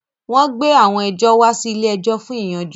Wọ́n gbé àwọn ẹjọ́ wá sí ilé-ẹjọ̀ fún ìyanjú